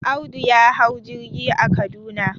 Audu ya hau jirgi a Kaduna.